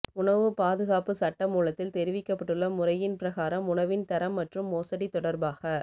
உணவு பாதுகாப்பு சட்டமூலத்தில் தெரிவிக்கப்பட்டுள்ள முறையின் பிரகாரம் உணவின் தரம் மற்றும் மோசடி தொடர்பாக